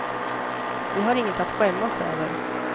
Vi har inget att skämmas över.